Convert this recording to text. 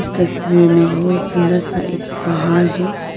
इस तस्वीर में बहुत सुंदर सा एक पाहाड़ है।